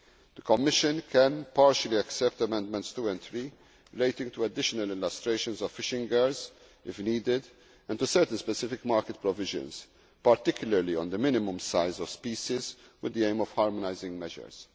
The Commission can partially accept Amendments 2 and 3, relating to additional illustrations of fishing gears, if needed, and to certain specific market provisions, particularly on the minimum size of species, with the aim of harmonising measures.